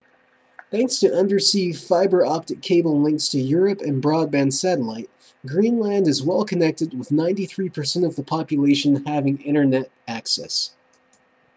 thanks to undersea fiber optic cable links to europe and broadband satellite greenland is well connected with 93% of the population having internet access